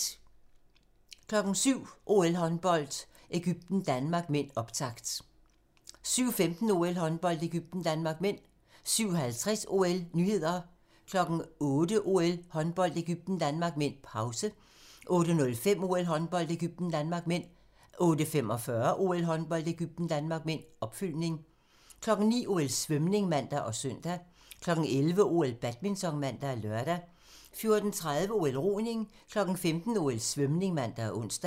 07:00: OL: Håndbold - Egypten-Danmark (m), optakt 07:15: OL: Håndbold - Egypten-Danmark (m) 07:50: OL: Nyheder 08:00: OL: Håndbold - Egypten-Danmark (m), pause 08:05: OL: Håndbold - Egypten-Danmark (m) 08:45: OL: Håndbold - Egypten-Danmark (m), opfølgning 09:00: OL: Svømning (man og søn) 11:00: OL: Badminton (man og lør) 14:30: OL: Roning 15:00: OL: Svømning (man og ons)